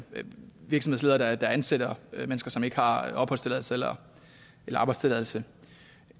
virksomhedsledere ansætter mennesker som ikke har opholdstilladelse eller arbejdstilladelse